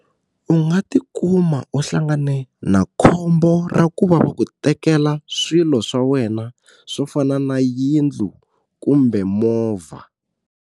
U nga ti kuma u hlangane na khombo ra ku va va ku tekela swilo swa wena swo fana na yindlu kumbe movha.